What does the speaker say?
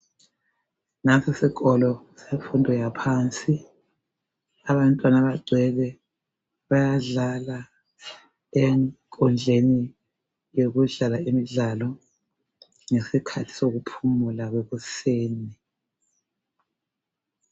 Nansi isikolo semfundo yaphansi bagcwele bayadlala enkundleni yokudlala imidlalo ngesikhathi sokuphumula kwekuseni